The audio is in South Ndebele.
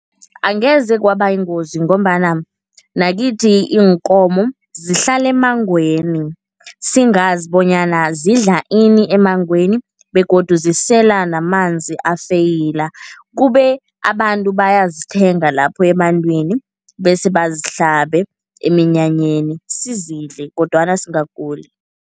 Angeze kwaba yingozi ngombana nakithi iinkomo zihlala emmangweni, singazi bonyana zidla ini emmangweni begodu zisela namanzi afeyila. Kube abantu bayazithenga lapho ebantwini bese bazihlabe eminyanyeni, sizidle kodwana singaguli.